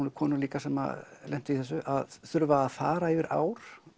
nú konur líka sem lentu í þessu að þurfa að fara yfir ár